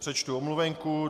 Přečtu omluvenku.